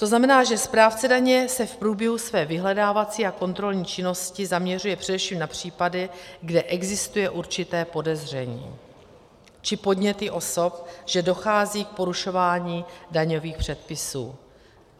To znamená, že správce daně se v průběhu své vyhledávací a kontrolní činnosti zaměřuje především na případy, kde existuje určité podezření či podněty osob, že dochází k porušování daňových předpisů.